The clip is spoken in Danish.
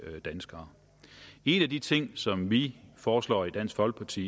danskere en af de ting som vi foreslår i dansk folkeparti